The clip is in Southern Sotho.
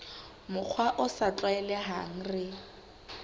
mokgwa o sa tlwaelehang re